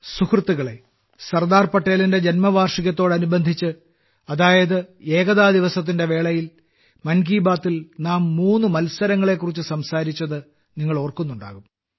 സുഹൃത്തുക്കളേ സർദാർ പട്ടേലിന്റെ ജന്മവാർഷികത്തോടനുബന്ധിച്ച് അതായത് ഏകതാ ദിവസത്തിന്റെവേളയിൽ മൻ കി ബാത്തിൽ നാം മൂന്ന് മത്സരങ്ങളെക്കുറിച്ച് സംസാരിച്ചത് നിങ്ങൾ ഓർക്കുന്നുണ്ടാകും